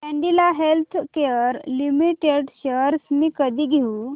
Cadila healthcare limited shares मी कधी घेऊ